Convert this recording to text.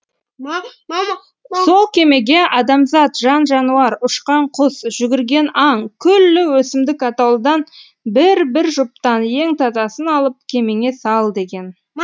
сол кемеге адамзат жан жануар ұшқан құс жүгірген аң күллі өсімдік атаулыдан бір бір жұптан ең тазасын алып кемеңе сал деген